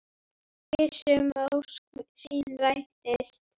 Viss um að ósk sín rætist.